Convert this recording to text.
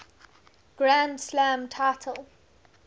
grand slam title